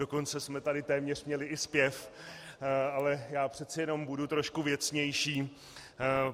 Dokonce jsme tady téměř měli i zpěv, ale já přece jenom budu trošku věcnější.